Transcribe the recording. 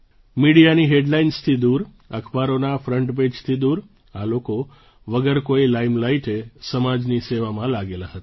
મીડિયાની હેડલાઇન્સથી દૂર અખબારોના ફ્રન્ટપેજથી દૂર આ લોકો વગર કોઈ લાઇમલાઇટે સમાજની સેવામાં લાગેલા હતા